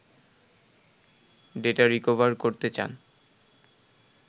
data recover করতে চান